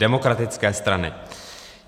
Demokratické strany.